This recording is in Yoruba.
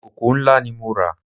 Ìkòkò ńlá ni mo rà